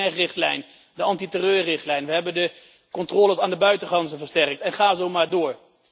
We hebben de PNR richtlijn, de anti terreurrichtlijn, we hebben de controles aan de buitengrenzen versterkt en ga zo maar door.